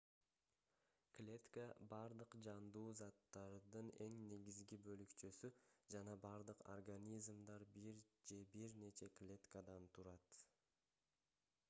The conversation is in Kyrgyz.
клетка бардык жандуу заттардын эң негизги бөлүкчөсү жана бардык организмдер бир же бир нече клеткадан турат